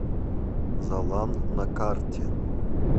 залан на карте